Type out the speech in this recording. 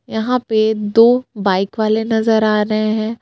यहाँ पे दो बाईक वाले नजर आ रहे हैं.